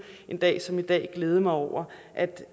en dag som i dag glæde mig over